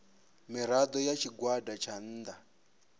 mirado ya tshigwada tsha nnda